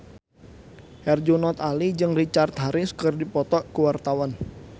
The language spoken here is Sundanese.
Herjunot Ali jeung Richard Harris keur dipoto ku wartawan